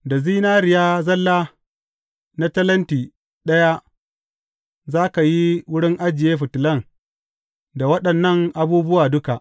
Da zinariya zalla na talenti ɗaya za ka yi wurin ajiye fitilan da waɗannan abubuwa duka.